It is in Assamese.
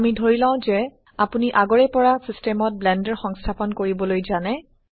আমি ধৰিলও যে আপোনি আগৰে পৰা সিস্টেমত ব্লেন্ডাৰ সংস্থাপন কৰিবলৈ জানে